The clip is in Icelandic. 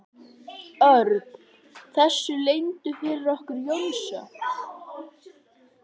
Örn þessu leyndu fyrir okkur Jónsa?